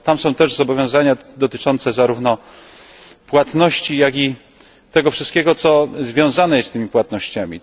Tam są też zobowiązania dotyczące zarówno płatności, jak i tego wszystkiego, co związane jest z tymi płatnościami.